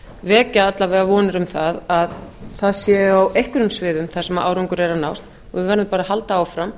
vekja alla vega vonir um að það sé á einhverjum sviðum sem árangur er að nást og við verðum bara að halda áfram